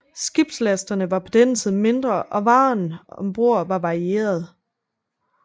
Skibslastene var på denne tid mindre og varerne ombord var varierede